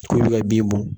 K'u bɛ ka bin bɔn